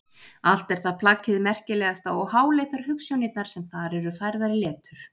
Allt er það plagg hið merkilegasta og háleitar hugsjónirnar sem þar eru færðar í letur.